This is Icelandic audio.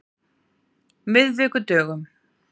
miðvikudögum